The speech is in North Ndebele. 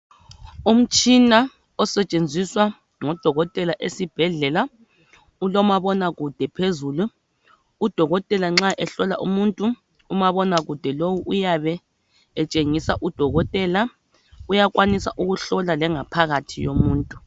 Umtshina osetshenziswa ngudokotela esibhedlela ulomabonakude phezulu udokotela nxa ehlola umuntu umabona kude lowu uyabe etshengisa udokotela, uyakwanisa ukuhlola lengaphakathi yomuntu.